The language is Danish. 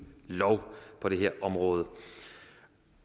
lov på det her område